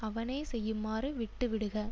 அவனே செய்யுமாறு விட்டுவிடுக